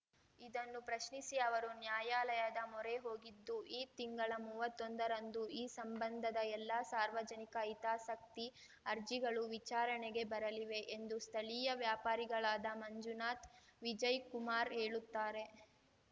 ಇದನ್ನು ಪ್ರಶ್ನಿಸಿ ಅವರು ನ್ಯಾಯಾಲಯದ ಮೊರೆ ಹೋಗಿದ್ದು ಈ ತಿಂಗಳ ಮೂವತ್ತೊಂದರಂದು ಈ ಸಂಬಂಧದ ಎಲ್ಲ ಸಾರ್ವಜನಿಕ ಹಿತಾಸಕ್ತಿ ಅರ್ಜಿಗಳು ವಿಚಾರಣೆಗೆ ಬರಲಿವೆ ಎಂದು ಸ್ಥಳೀಯ ವ್ಯಾಪಾರಿಗಳಾದ ಮಂಜುನಾಥ್‌ ವಿಜಯ್‌ಕುಮಾರ್‌ ಹೇಳುತ್ತಾರೆ